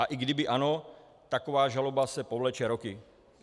A i kdyby ano, taková žaloba se povleče roky.